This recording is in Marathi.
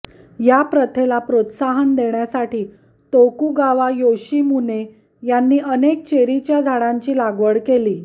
या प्रथेला प्रोत्साहन देण्यासाठी तोकुगावा योशीमुने यांनी अनेक चेरीच्या झाडांची लागवड केली